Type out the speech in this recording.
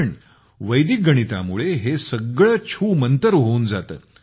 तर वैदिक गणितामुळे हे सगळे छूमंतर होऊन जाते